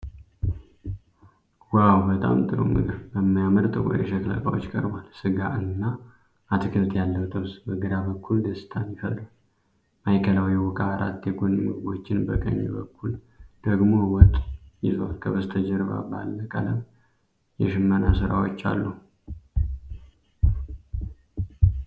ዋው! በጣም ጥሩ ምግብ በሚያምር ጥቁር የሸክላ ዕቃዎች ቀርቧል። ሥጋ እና አትክልት ያለው ጥብስ በግራ በኩል ደስታን ይፈጥራል። ማዕከላዊው ዕቃ አራት የጎን ምግቦችን፣ በቀኝ በኩል ደግሞ ወጥ ይዟል። ከበስተጀርባ ባለ ቀለም የሽመና ሥራዎች አሉ።